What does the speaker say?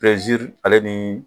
ale ni